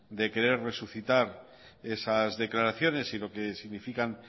de querer resucitar esas declaraciones y lo que significan